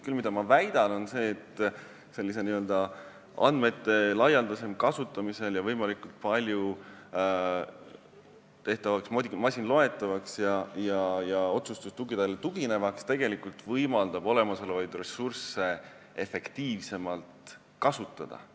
Küll väidan, et andmete laialdasem kasutamine ja võimalikult palju masinloetavaks ja otsustustuginevaks tegemine võimaldab olemasolevaid ressursse efektiivsemalt kasutada.